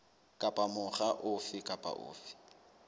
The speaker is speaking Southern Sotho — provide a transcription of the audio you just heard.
kapa mokga ofe kapa ofe